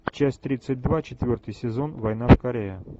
часть тридцать два четвертый сезон война в корее